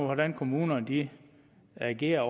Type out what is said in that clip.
hvordan kommunerne agerer